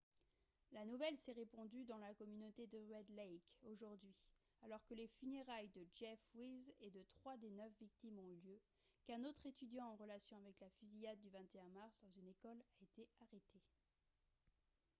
la nouvelle s'est répandue dans la communauté de red lake aujourd'hui alors que les funérailles de jeff weise et de trois des neuf victimes ont eu lieu qu'un autre étudiant en relation avec la fusillade du 21 mars dans une école a été arrêté